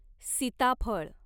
सीताफळ